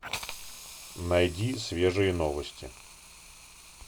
найди свежие новости